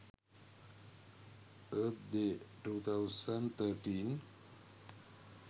earth day 2013